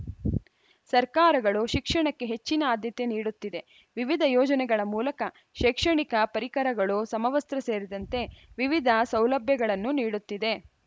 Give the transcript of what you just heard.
ಸರ್ಕಾರಗಳು ಶಿಕ್ಷಣಕ್ಕೆ ಹೆಚ್ಚಿನ ಆದ್ಯತೆ ನೀಡುತ್ತಿದೆ ವಿವಿಧ ಯೋಜನೆಗಳ ಮೂಲಕ ಶೈಕ್ಷಣಿಕ ಪರಿಕರಗಳು ಸಮವಸ್ತ್ರ ಸೇರಿದಂತೆ ವಿವಿಧ ಸೌಲಭ್ಯಗಳನ್ನು ನೀಡುತ್ತಿದೆ